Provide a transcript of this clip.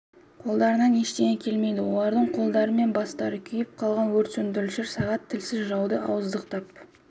қолдарынан ештеңе келмейді олардың қолдары мен бастары күйіп қалған өрт сөндірушілер сағат тілсіз жауды ауыздықтап